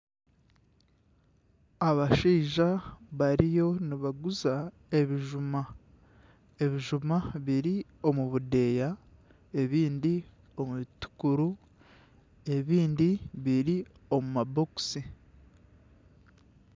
Abashaija bariyo nibaguza ebijuma, ebijuma biri omu budeeya ebindi omu bitukuru ebindi biri omu mabokisi.